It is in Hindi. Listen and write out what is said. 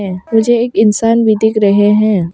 मुझे एक इंसान भी दिख रहे हैं।